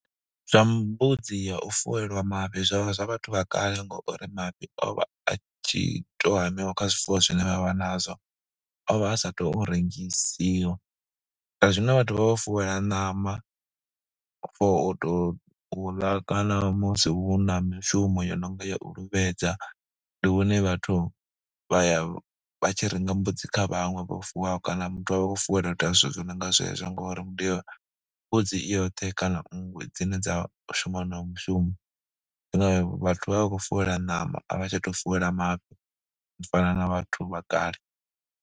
Zwa mbudzi ya u fuwelwa mafhi zwa vha zwa vhathu vha kale ngo uri mafhi o vha a tshi tou hamiwa kha zwifuwo zwine vha vha nazwo, o vha a sa tou rengisiwa. Zwa zwino vhathu vha vha vho fuwelwa ṋama for u tou u ḽa kana musi hu na mishumo yo no nga ya u luvhedza. Ndi hune vhathu vha ya vha tshi renga mbudzi kha vhaṅwe vho fuwaho kana muthu a vha a khou fuwelwa u ita zwithu zwo no nga zwezwo ngori mbudzi i yoṱhe kana ngwe dzine dza shuma honoyo mushumo nga vhathu vha vha vha khou fuwela ṋama, a vha tsha tou fuwela mafhi u fana na vhathu vha kale.